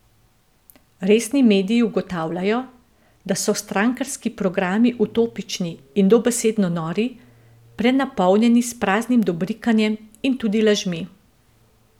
Resni mediji ugotavljajo, da so strankarski programi utopični in dobesedno nori, prenapolnjeni s praznim dobrikanjem in tudi lažmi.